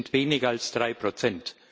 Es sind weniger als drei Prozent.